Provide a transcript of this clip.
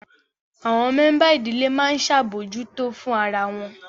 Àwọn mẹ́ńbà ìdílé máa ń ṣabojuto fún ara wọn